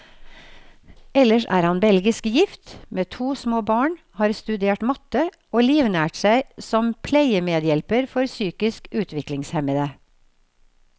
Ellers er han belgisk gift, med to små barn, har studert matte, og livnært seg som pleiemedhjelper for psykisk utviklingshemmede.